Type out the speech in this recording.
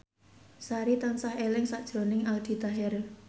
Sari tansah eling sakjroning Aldi Taher